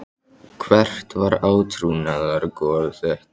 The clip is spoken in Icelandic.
Hvert var átrúnaðargoð þitt?